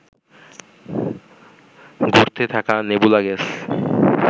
ঘুরতে থাকা nebula gas